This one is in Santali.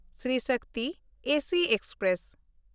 Shri Shakti AC express